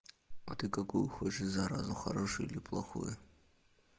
а ты какую хочешь заразу хорошую или плохую